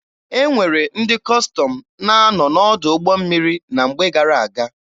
E nwere ndị Kọstọm na-anọ n'ọdụ ụgbọ mmiri na mgbe gara-aga.